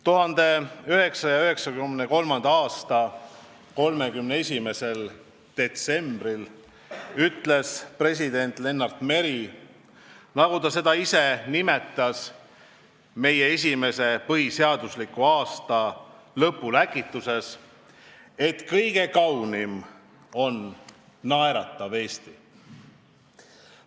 1993. aasta 31. detsembril ütles president Lennart Meri, nagu ta seda ise nimetas, meie esimese põhiseadusliku aasta lõpuläkituses, et kõige kaunim on naeratav Eesti.